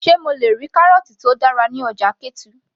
sé mo le rí kárọ̀ọ̀tì tó dára ní ọjà ketu